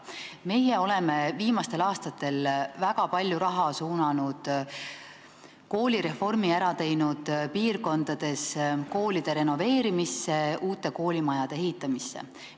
Meie oleme koolireformi ära teinud ja viimastel aastatel suunanud väga palju raha koolide renoveerimisse, uute koolimajade ehitamisse piirkondades.